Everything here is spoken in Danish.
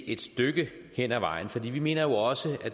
et stykke hen ad vejen for vi mener jo også